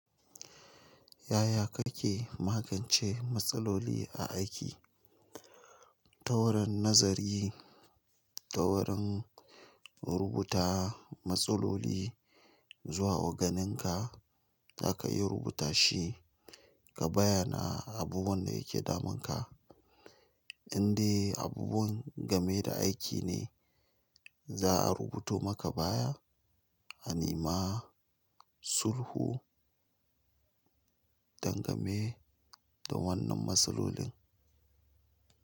Yaya kake magance matsaloli a aiki? Ta wurin nazari, ta wurin rubuta matsaloli zuwa oganinka, zaka iya rubuta shi ka bayyana abubuwan da yake damunka. Inde abubuwan game da aiki ne, za'a rubuto maka baya, a nema sulhu. Dangane da wannan matsalolin.